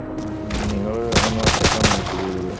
ആഹ് നിങ്ങൾ അന്ന് ഒറ്റക്കാണോ യാത്ര ചെയ്തത്